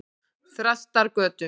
Þrastargötu